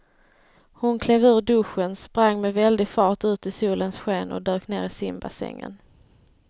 Hon klev ur duschen, sprang med väldig fart ut i solens sken och dök ner i simbassängen.